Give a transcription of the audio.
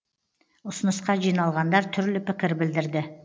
ұсынысқа жиналғандар түрлі пікір білдірді